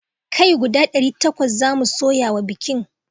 Kai guda ɗari takwas zamu soya wa bikin